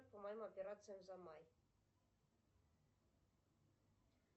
по моим операциям за май